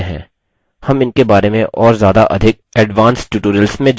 हम इनके बारे में और ज्यादा अधिक advanced tutorials में जानेंगे